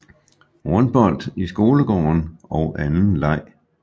Rundbold i skolegården og anden leg